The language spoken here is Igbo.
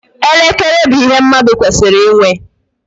Elekere bụ ihe mmadụ kwesịrị ịnwe.